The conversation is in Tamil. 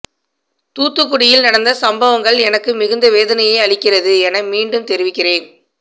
தூத்துக்குடியில் நடந்த சம்பவங்கள் எனக்கு மிகுந்த வேதனையை அளிக்கிறது என மீண்டும் தெரிவிக்கிறேன்